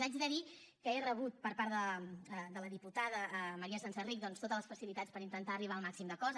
haig de dir que he rebut per part de la diputada maria senserrich doncs totes les facilitats per intentar arribar al màxim d’acords